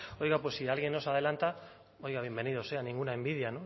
oiga pues si alguien nos adelanta bienvenido sea ninguna envidia